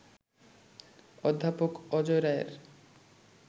অধ্যাপক অজয় রায়ের